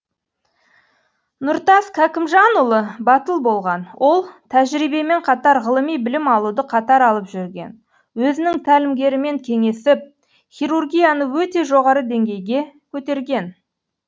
нұртас кәкімжанұлы батыл болған ол тәжірибемен қатар ғылыми білім алуды қатар алып жүрген өзінің тәлімгерімен кеңесіп хирургияны өте жоғары деңгейге көтерген